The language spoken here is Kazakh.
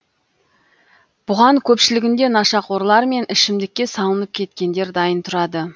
бұған көпшілігінде нашақорлар мен ішімдікке салынып кеткендер дайын тұрады